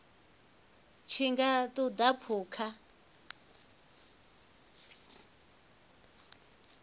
tshi nga ṱun ḓa phukha